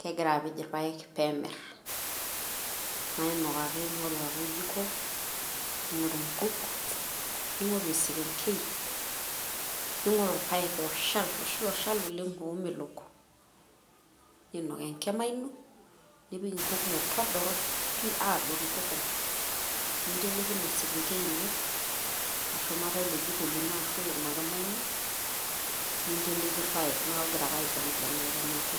kegira apej irpaek peemirr, nainok ake, naing'oru ake oljiko naing'oru nkuk naing'oru esekengei naing'oru irpaek ooshal ilosho ooshal oleng' oomeleok niinok enkima ino nipik nkuk metodoro pii, aadoru tukul ninteleiki ina sekengei ino shumata ilo jiko lino ashu ina kima ino, ninteleiki irpaek neeku igira ake aibelibelekenyaki.